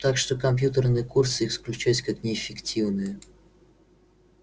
так что компьютерные курсы исключались как неэффективные